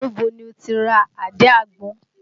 Níbo ni o tí ra àdí àgbọn?